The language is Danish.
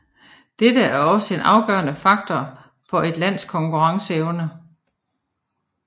Dette er altså en afgørende faktor for et lands konkurrenceevner